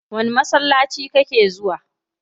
Wani masallaci kake zuwa?